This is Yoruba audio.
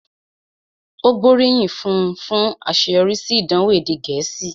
Ó gbóríyìn fún un fún àṣeyọrí sí ìdánwò èdè Gẹ̀ẹ́sì